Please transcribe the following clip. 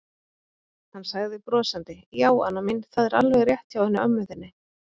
Hann sagði brosandi: Já, Anna mín, það er alveg rétt hjá henni ömmu þinni.